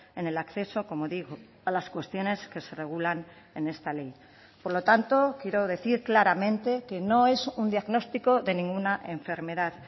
en el acceso como digo a las cuestiones que se regulan en esta ley por lo tanto quiero decir claramente que no es un diagnóstico de ninguna enfermedad